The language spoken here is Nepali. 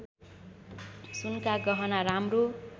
सुनका गहना राम्रो